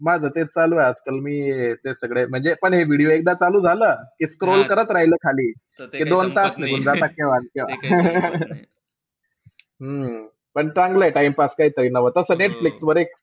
माझं तेचं चालूय आजकाल. मी हे ते सगळे म्हणजे, पण हे video एकदा चालू झालं scroll करत राहीलं खाली की दोन तास निघून जाता केव्हान-केव्हा. हम्म पण चांगलंय time pass काहीतरी नवं. तस नेटफ्लिक्सवर एक,